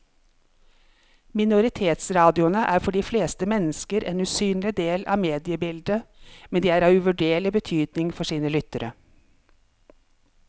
Minoritetsradioene er for de fleste mennesker en usynlig del av mediebildet, men de er av uvurderlig betydning for sine lyttere.